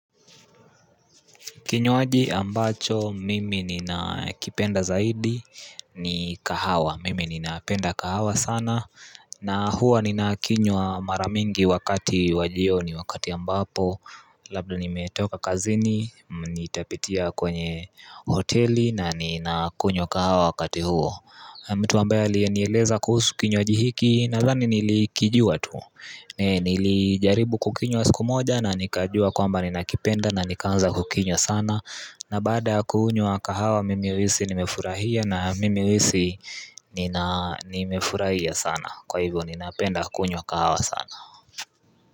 Kinywaji ambacho mimi nina kipenda zaidi ni kahawa mimi nina penda kahawa sana na huwa nina kinywa maramingi wakati wajioni wakati ambapo Labda nimetoka kazini nitapitia kwenye hoteli na nina kunywa kahawa wakati huo mtu ambaye alienieleza kuhusu kinywaji hiki nazani nilikijua tu Nili jaribu kukinywa siku moja na nikajua kwamba ninakipenda na nikanza kukinywa sana na baada ya kunywa wa kahawa nimehisi nimefurahia na nimehisi nimefurahia sana Kwa hivyo ninapenda kunywa kahawa sana.